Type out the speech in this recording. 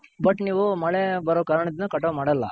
but ನೀವು ಮಳೆ ಬಾರೋ ಕಾರಣ ದಿಂದ ಮಾಡಲ್ಲ.